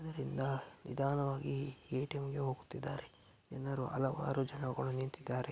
ಅದರಿಂದ ನಿಧಾನವಾಗಿ ಎ.ಟಿ.ಎಮ್. ಗೆ ಹೋಗುತ್ತಿದ್ದಾರೆ. ಜನರು ಹಲವಾರು ಜನಗಳು ನಿಂತಿದ್ದಾರೆ.